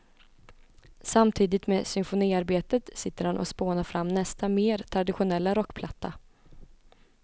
Samtidigt med symfoniarbetet sitter han och spånar fram nästa, mer traditionella rockplatta.